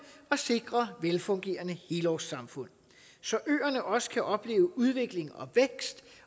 og sikre velfungerende helårssamfund så øerne også kan opleve udvikling og vækst